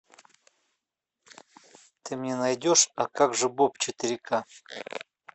ты мне найдешь а как же боб четыре ка